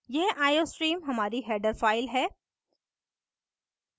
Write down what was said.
यह iostream हमारी header file है